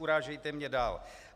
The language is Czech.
Urážejte mě dál.